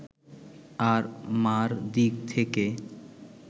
আর মা’র দিক থেকে